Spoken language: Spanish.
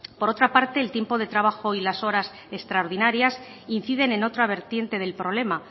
por otra parte el tiempo de trabajo y las horas extraordinarias inciden en otra vertiente del problema